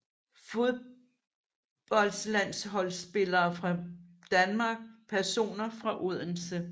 Fodboldlandsholdsspillere fra Danmark Personer fra Odense